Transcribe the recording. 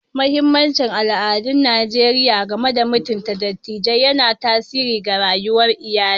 Mahimmancin al'adun Najeriya game da mutunta dattijai yana tasiri ga rayuwar iyali.